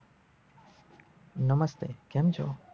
નમસ્તે કેમ છો?